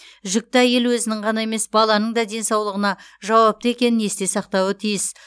жүкті әйел өзінің ғана емес баланың да денсаулығына жауапты екенін есте сақтауы тиіс